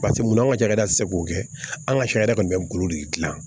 Paseke munna an ka cakɛda te se k'o kɛ an ka sariya kɔni bɛ n bolo de gilan